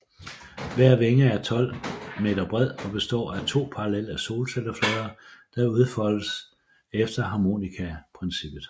Hver vinge er 12 m bred og består af to parallelle solcelleflader der udfoldes efter harmonikaprincippet